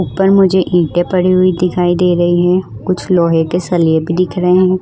ऊपर मुझे ईंटे पड़ी हुई दिखाई दे रही है कुछ लोहे के सलिए भी दिख रहे हैं।